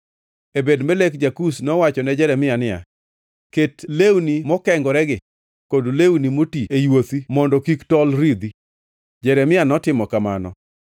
Ebed-Melek ja-Kush nowacho ne Jeremia niya, “Ket lewni mokengoregi kod lewni moti e yuothi mondo kik tol ridhi.” Jeremia notimo kamano,